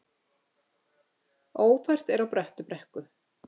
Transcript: Ófært er á Bröttubrekku